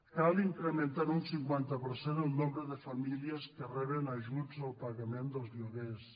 cal incrementar en un cinquanta per cent el nombre de famílies que reben ajuts al pagament dels lloguers